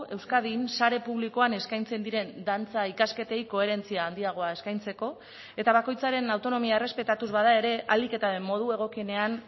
euskadin sare publikoan eskaintzen diren dantza ikasketei koherentzia handiagoa eskaintzeko eta bakoitzaren autonomia errespetatuz bada ere ahalik eta modu egokienean